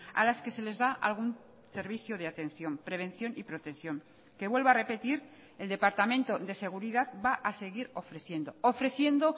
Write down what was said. a las que se les da algún servicio de atención prevención y protección que vuelvo a repetir el departamento de seguridad va a seguir ofreciendo ofreciendo